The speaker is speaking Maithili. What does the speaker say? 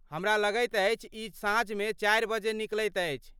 हमरा लगैत अछि ई साँझमे चारि बजे निकलैत अछि।